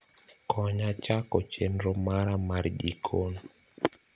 konya chako chenro mara mar jikon